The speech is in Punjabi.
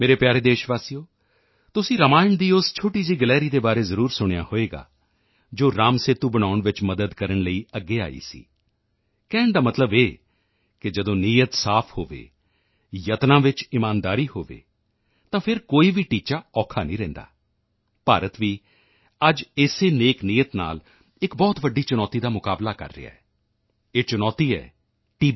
ਮੇਰੇ ਪਿਆਰੇ ਦੇਸ਼ਵਾਸੀਓ ਤੁਸੀਂ ਰਾਮਾਇਣ ਦੀ ਉਸ ਛੋਟੀ ਜਿਹੀ ਗਲਹਿਰੀ ਦੇ ਬਾਰੇ ਜ਼ਰੂਰ ਸੁਣਿਆ ਹੋਵੇਗਾ ਜੋ ਰਾਮਸੇਤੂ ਬਣਾਉਣ ਵਿੱਚ ਮਦਦ ਕਰਨ ਲਈ ਅੱਗੇ ਆਈ ਸੀ ਕਹਿਣ ਦਾ ਮਤਲਬ ਇਹ ਕਿ ਜਦੋਂ ਨੀਅਤ ਸਾਫ ਹੋਵੇ ਯਤਨਾਂ ਵਿੱਚ ਇਮਾਨਦਾਰੀ ਹੋਵੇ ਤਾਂ ਫਿਰ ਕੋਈ ਵੀ ਲਕਸ਼ ਔਖਾ ਨਹੀਂ ਰਹਿੰਦਾ ਭਾਰਤ ਵੀ ਅੱਜ ਇਸੇ ਨੇਕ ਨੀਅਤ ਨਾਲ ਇੱਕ ਬਹੁਤ ਵੱਡੀ ਚੁਣੌਤੀ ਦਾ ਮੁਕਾਬਲਾ ਕਰ ਰਿਹਾ ਹੈ ਇਹ ਚੁਣੌਤੀ ਹੈ ਟੀ